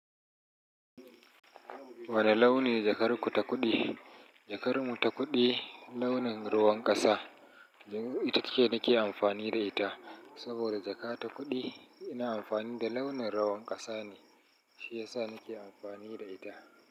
Wane launi ne jakar ku ta kuɗi? Jakar mu ta kuɗi launin ruwan ƙasa. Ita ce nake amfani da ita saboda jaka ta kuɗi ina amfani da launin ruwan ƙasa ne shiyasa nake amfani da ita.